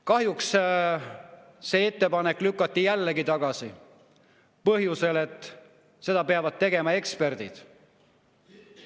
Kahjuks lükati see ettepanek jällegi tagasi, põhjusel, et seda peavad tegema eksperdid.